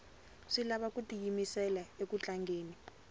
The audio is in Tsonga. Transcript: swi lava ku tiyimisela uku tlangeni